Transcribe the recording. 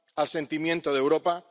al sentimiento de Europa.